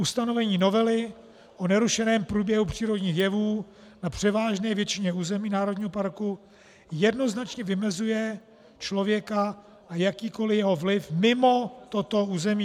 Ustanovení novely o nerušeném průběhu přírodních jevů na převážné většině území národního parku jednoznačně vymezuje člověka a jakýkoliv jeho vliv mimo toto území.